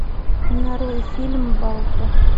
нарой фильм балто